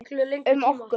Um okkur.